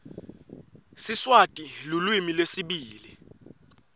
siswati lulwimi lwesibili